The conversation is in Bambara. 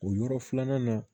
O yɔrɔ filanan na